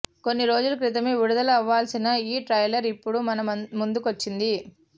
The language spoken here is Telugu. కొన్ని రోజుల క్రితమే విడుదల అవ్వాల్సిన ఈ ట్రైలర్ ఇప్పుడు మన ముందుకి వచ్చింది